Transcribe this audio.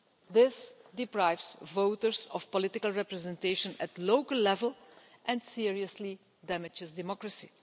This deprives voters of political representation at local level and seriously damages democracy.